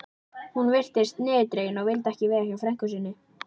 Hún virtist niðurdregin og vildi ekki vera hjá frænku sinni.